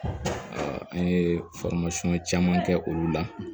an ye caman kɛ olu la